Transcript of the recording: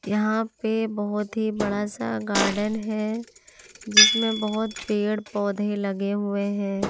यहां पे बहुत ही बड़ा सा गार्डन है जिसमें बहुत पेड़-पौधे लगे हुए हैं।